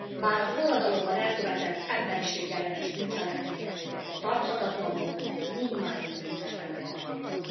Bár a forradalomban elkövetett emberieség ellenes bűncselekmények, tarthatatlan módon, mindmáig büntetlenek maradtak.